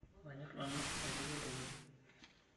Manyorr nanu aitukuo ntokitin.